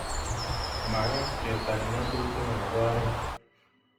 Magat ketar nyasutikab oret